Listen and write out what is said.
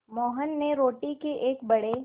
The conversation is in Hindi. मोहन ने रोटी के एक बड़े